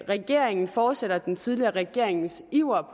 regeringen fortsætter den tidligere regerings iver